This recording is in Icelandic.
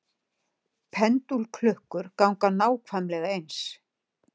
Pendúlklukkur ganga nákvæmlega eins.